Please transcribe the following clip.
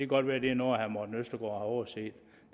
godt være at det er noget herre morten østergaard har overset